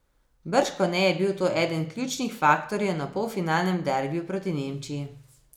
Bržkone je bil to eden ključnih faktorjev na polfinalnem derbiju proti Nemčiji.